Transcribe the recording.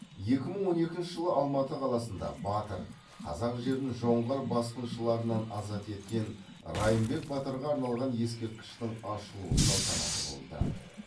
екі мың он екінші жылы алматы қаласында батыр қазақ жерін жоңғар басқыншыларынан азат еткен райымбек батырға арналған ескерткіштің ашылу салтанаты болды